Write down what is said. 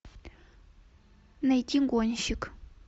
найти гонщик